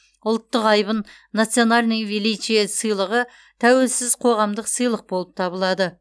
ұлттық айбын национальное величие сыйлығы тәуелсіз қоғамдық сыйлық болып табылады